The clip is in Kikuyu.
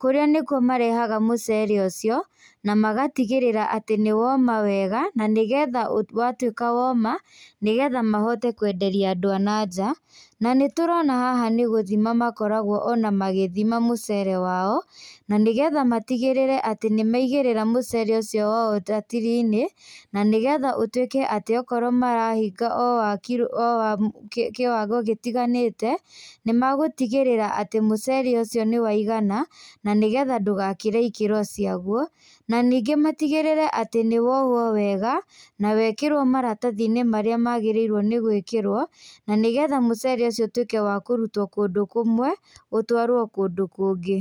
kũrĩa nĩkuo marehaga mũcere ũcio, na magatigĩrĩra atĩ nĩ woma wega, na nĩgetha watuĩka woma, nĩgetha mahote kwenderia andũ a na nja. Na nĩtũrona haha nĩ gũthima makoragwo ona magĩthima mũcere wao, na nĩgetha matigĩrĩre atĩ nĩmaigĩrĩra mũcere ũcio wao ratiri-inĩ, na nĩgetha ũtuĩke atĩ okorwo marahinga o wa kiro, o wa kiwango gĩtiganĩte, nĩmagũtigĩrĩra atĩ mũcere ũcio nĩwaigana, na nĩgetha ndũgakĩre ikĩro ciaguo, na ningĩ matigĩrĩre atĩ nĩwohwo wega, na wekĩrwo maratathi-inĩ marĩa magĩrĩire nĩ gwĩkĩrwo, na nĩgetha mũcere ũcio ũtuĩke wa kũrutwo kũndũ kũmwe, ũtwarwo kũndũ kũngĩ.